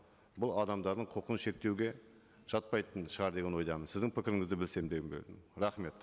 бұл адамдардың құқын шектеуге жатпайтын шығар деген ойдамын сіздің пікіріңізді білсем дегім келетіні рахмет